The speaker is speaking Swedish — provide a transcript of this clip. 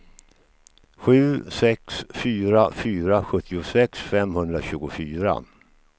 sju sex fyra fyra sjuttiosex femhundratjugofyra